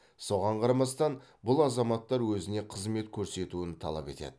соған қарамастан бұл азаматтар өзіне қызмет көрсетуін талап етеді